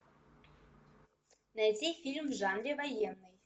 найти фильм в жанре военный